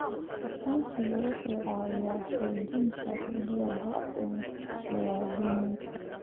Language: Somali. Aqoonsigu wuxuu caawiyaa xoojinta xuquuqda muwaadiniinta.